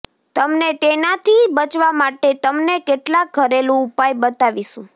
તમને તેનાથી બચવા માટે તમને કેટલાક ઘરેલુ ઉપાય બતાવીશું